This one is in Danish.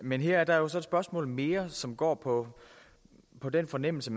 men her er der jo så et spørgsmål mere som går på på den fornemmelse